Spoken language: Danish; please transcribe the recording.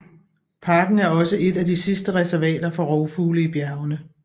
Parken er også et af de sidste reservater for rovfugle i bjergene